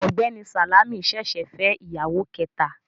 Ọ̀gbẹ́ni Sàlámì ṣẹ̀ṣẹ̀ fẹ́ ìyàwó kẹta